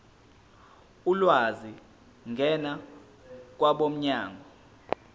ulwazi ngena kwabomnyango